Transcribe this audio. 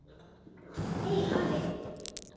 Hey, afi.